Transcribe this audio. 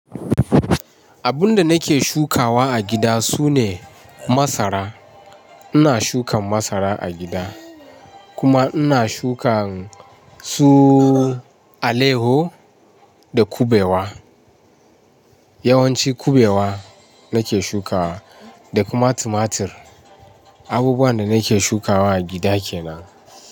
Abun da nake shukawa a gida sune masara. Ina shukan masara a gida kuma ina shukan su aleho da kubewa. Yawanci kubewa nake shukawa da kuma tumatir. Abubuwan da nake shukawa a gida kenan.